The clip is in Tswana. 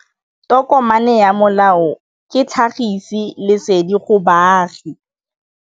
Tokomane ya molao ke tlhagisi lesedi go baagi.